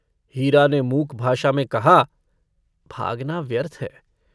हीरा ने मूक भाषा में कहा - भागना व्यर्थ है।